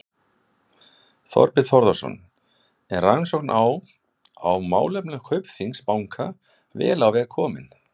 Þorbjörn Þórðarson: Er rannsókn á, á málefnum Kaupþings banka vel á veg komin?